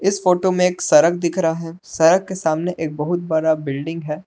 इस फोटो में एक सड़क दिख रहा है सड़क के सामने एक बहुत बड़ा बिल्डिंग है।